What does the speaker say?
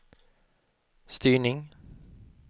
styrning